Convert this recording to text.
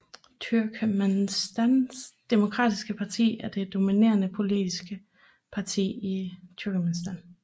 Turkmenistans demokratiske parti er det dominerende politiske parti i Turkmenistan